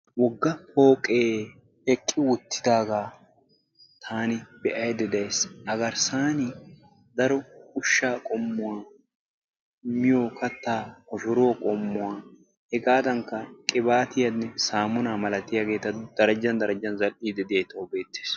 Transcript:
Wogga pooqee eqqi wottidaagaa taani be'ayda de'ays. A garssan daro ushshaa qommuwa, miyo kattaa koshshoruwa qommuwa hegaadankka qibaatiyanne samunaa malatiyageta darjjan darjjan zal'idi diyagee tawu beettees.